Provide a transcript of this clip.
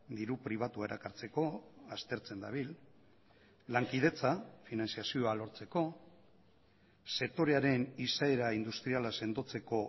diru pribatua erakartzeko aztertzen dabil lankidetza finantzazioa lortzeko sektorearen izaera industriala sendotzeko